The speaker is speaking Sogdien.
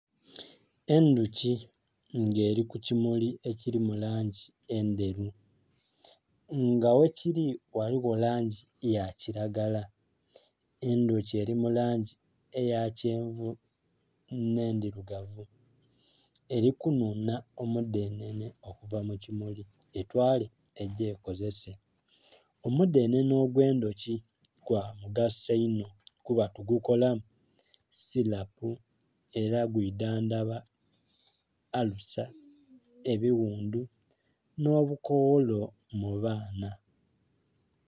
Endhuki nga eri ku kimuli ekili mu langi endheru nga ghe kili ghaligho langi eya kilagala endhuki eri mulangi eya kyenvu nhe endhirugavu eri kunhunha omudhenene okuva mu kimuli etwale egye ekozese. Omudhenene ogwe' ndhoki gwa mugaso inho kuba tugukolamu silapu era gwidhandhaba alusa, ebighundhu nho lukogholo mu baana.